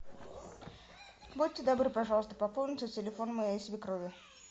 будьте добры пожалуйста пополните телефон моей свекрови